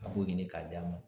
A b'o ɲini k'a d'a ma.